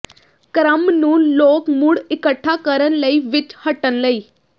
ਕ੍ਰਮ ਨੂੰ ਲੋਕ ਮੁੜ ਇਕੱਠਾ ਕਰਨ ਲਈ ਵਿੱਚ ਹੱਟਣ ਲਈ